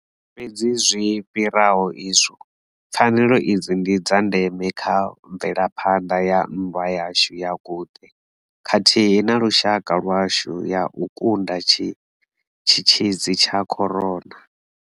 Fhedzi zwi fhiraho izwo, pfanelo idzi ndi dza ndeme kha mvelaphanda ya nndwa yashu ya guṱe khathihi na lushaka lwashu ya u kunda tshitzhidzi tsha corona.